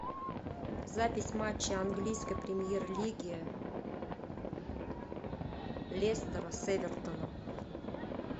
запись матча английской премьер лиги лестера с эвертоном